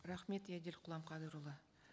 рахмет еділ құламқадырұлы